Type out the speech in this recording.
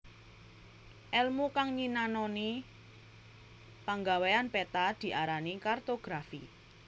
Èlmu kang nyinanoni panggawéyan peta diarani kartografi